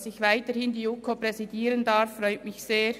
Dass ich weiterhin die JuKo präsidieren darf, freut mich sehr.